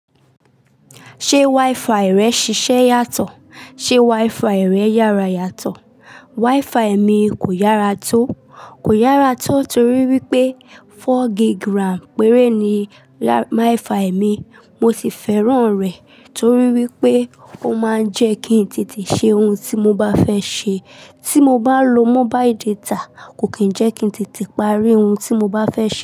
Ṣé WiFi rẹ ń ṣiṣẹ́ yàtọ̀? Ṣé WiFi rẹ yára yàtọ̀? WiFi mi kò yára tó. Kò yára tó torí wípé four gig grams péré ni WiFi mi. Mo sì fẹ́ràn rẹ̀ torí wípé ó máa ń jẹ́ kí n tètè ṣe ohun tí mo bá fẹ́ ṣe. Tí mo bá lo mobile data kò kí ń jẹ́ kí n tètè parí ohun tí mo bá fẹ́ ṣe.